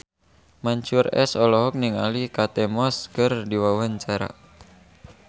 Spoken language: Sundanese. Mansyur S olohok ningali Kate Moss keur diwawancara